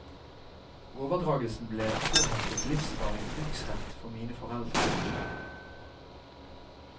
Overdragelsen ble påheftet livsvarig bruksrett for mine foreldre.